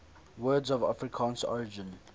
words of afrikaans origin